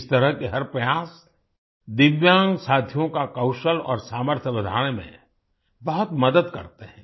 इस तरह के हर प्रयास दिव्यांग साथियों का कौशल और सामर्थ्य बढ़ाने में बहुत मदद करते हैं